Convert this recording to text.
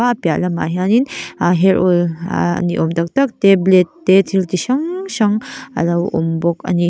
a piahlamah hianin a hair oil ahh niawm tak tak te blade te thil ti hrang hrang alo awm bawka ani.